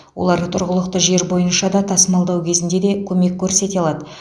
олар тұрғылықты жер бойынша да тасымалдау кезінде де көмек көрсете алады